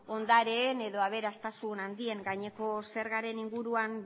ondareen edo aberastasun handien gaineko zergaren inguruan